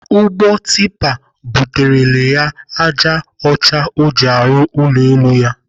Ụgbọ tipa buterele ya ájá ọcha ọ ji arụ ụlọ ala ya.